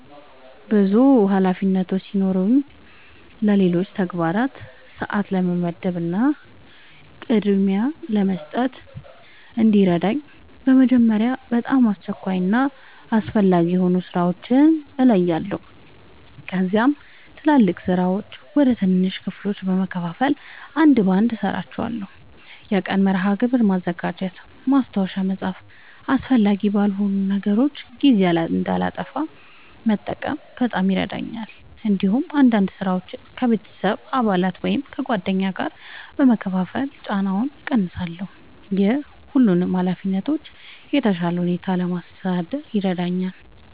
ብዙ ኃላፊነቶች ሲኖሩኝ ለሌሎች ተግባራት ሰአት ለመመደብ እና ቅድሚያ ለመስጠት እንዲረዳኝ በመጀመሪያ በጣም አስቸኳይ እና አስፈላጊ የሆኑ ሥራዎችን እለያለሁ። ከዚያም ትላልቅ ሥራዎችን ወደ ትናንሽ ክፍሎች በመከፋፈል አንድ በአንድ እሠራቸዋለሁ። የቀን መርሃ ግብር ማዘጋጀት፣ ማስታወሻ መጻፍ እና አስፈላጊ ባልሆኑ ነገሮች ጊዜ እንዳላጠፋ መጠንቀቅ በጣም ይረዳኛል። እንዲሁም አንዳንድ ሥራዎችን ከቤተሰብ አባላት ወይም ከጓደኞች ጋር በመካፈል ጫናውን እቀንሳለሁ። ይህ ሁሉንም ኃላፊነቶች በተሻለ ሁኔታ ለማስተዳደር ይረዳኛል።